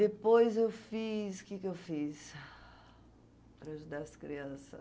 Depois eu fiz... O que que eu fiz para ajudar as criança?